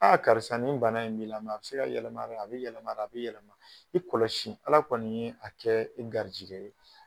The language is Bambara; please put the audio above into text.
karisa nin bana in b'i a bɛ se ka yɛlɛma dɛ a bɛ yɛlɛma dɛ a bɛ yɛlɛma i kɔlɔsi Ala kɔni ye a kɛ i garijɛgɛ ye.